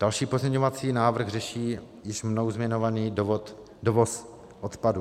Další pozměňovací návrh řeší již mnou zmiňovaný dovoz odpadů.